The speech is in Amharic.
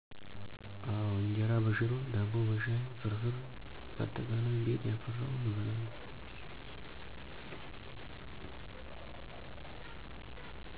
አወ እጀራ በሽሮ፣ ዳቦ በሻይ፣ ፍርፍር ባጠቃላይ ቤት ያፈራውን እበላለሁ